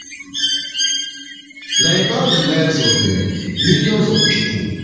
na about di lives of um millions of pipo